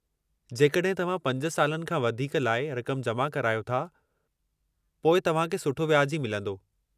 जेकॾहिं तव्हां 5 सालनि खां वधीक लाइ रक़म जमा करायो था, पोइ तव्हां खे सठो व्याजु ई मिलंदो।